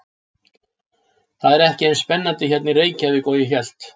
Það er ekki eins spennandi hérna í Reykjavík og ég hélt.